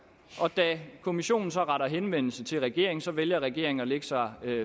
og da kommissionen så retter henvendelse til regeringen vælger regeringen at lægge sig